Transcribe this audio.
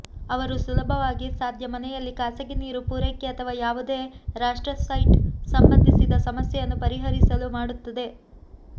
ಅವರು ಸುಲಭವಾಗಿ ಸಾಧ್ಯ ಮನೆಯಲ್ಲಿ ಖಾಸಗಿ ನೀರು ಪೂರೈಕೆ ಅಥವಾ ಯಾವುದೇ ರಾಷ್ಟ್ರ ಸೈಟ್ ಸಂಬಂಧಿಸಿದ ಸಮಸ್ಯೆಯನ್ನು ಪರಿಹರಿಸಲು ಮಾಡುತ್ತದೆ